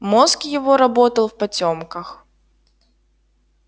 мозг его работал в потёмках